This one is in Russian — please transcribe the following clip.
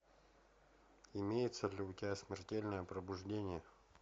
имеется ли у тебя смертельное пробуждение